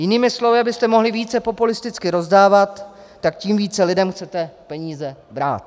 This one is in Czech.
Jinými slovy, abyste mohli více populisticky rozdávat, tak tím více lidem chcete peníze brát.